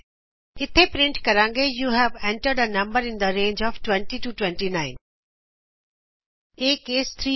ਇਥੇ ਅਸੀਂ ਪਰਿੰਟ ਕਰਾਂਗੇ you have entered a number in the range of 20 29 ਅਤੇ ਇਹ ਕੇਸ 3 ਹੈ